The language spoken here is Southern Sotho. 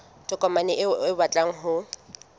tokomane eo o batlang ho